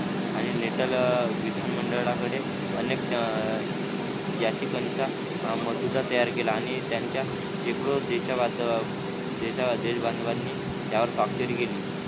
आणि नेटल विधान मंडळाकडे अनेक याचिकांचा मसुदा तयार केला आणि त्यांच्या शेकडो देशीवाद देश बांधवांनी त्यावर स्वाक्षरी केली.